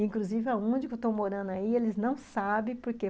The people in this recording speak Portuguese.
Inclusive, aonde que eu estou morando aí, eles não sabem porque.